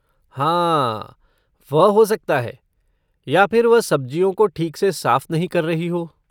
हाँ, वह हो सकता है या फिर वह सब्ज़ियों को ठीक से साफ नहीं कर रही हो।